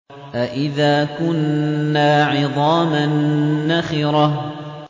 أَإِذَا كُنَّا عِظَامًا نَّخِرَةً